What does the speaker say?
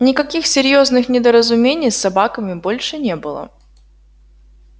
никаких серьёзных недоразумений с собаками больше не было